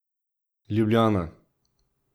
Ljubljana.